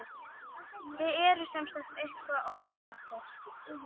Þið eruð semsagt eitthvað ósáttir?